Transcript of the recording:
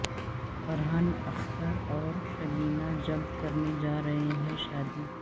فرحان اختر اور شبینا جلد کرنے جارہے ہیں شادی